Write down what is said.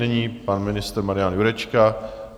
Nyní pan ministr Marian Jurečka.